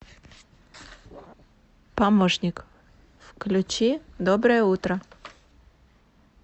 помощник включи доброе утро